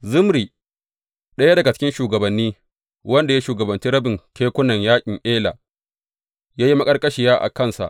Zimri, ɗaya daga cikin shugabanni, wanda ya shugabanci rabin kekunan yaƙin Ela, ya yi maƙarƙashiya a kansa.